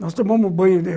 Nós tomamos banho ali.